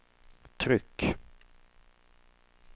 tryck